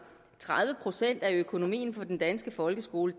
tredive procent af økonomien i den danske folkeskole